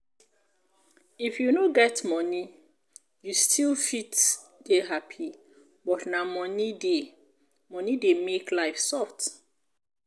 if you no get money you still fit dey happy but na money dey money dey make life soft